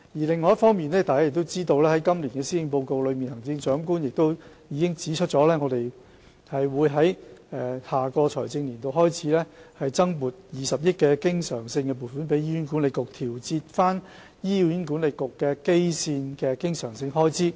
另一方面，大家也知道，在今年的施政報告中，行政長官已指出自下一個財政年度開始，會向醫管局增撥20億元的經常性撥款，以調節醫管局的基線經常性開支。